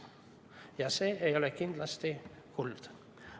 Ja see ei ole kindlasti kuld.